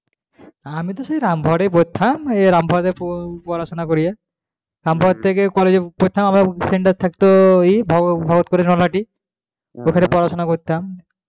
হে আমিতো সেই রামপুরহাট এই পড়তাম ঐ রামপুরহাটেই পড়াশোনা করিয়ে রামপুরহাট থেকে college এর জন্য আবার থাকতো ভগত পুরে রামহাটি ওখানে পড়াশোনা করতাম,